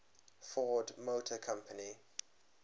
ford motor company